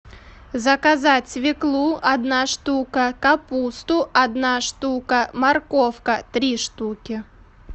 заказать свеклу одна штука капусту одна штука морковка три штуки